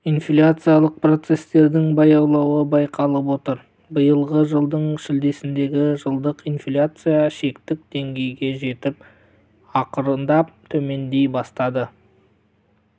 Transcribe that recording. инфляциялық процестердің баялауы байқалып отыр биылғы жылдың шілдесінде жылдық инфляция шектік деңгейге жетіп ақырындап төмендей бастады